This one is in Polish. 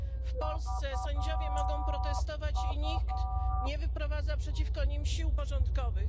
W Polsce sędziowie mogą protestować i nikt nie wyprowadza przeciwko nim sił porządkowych.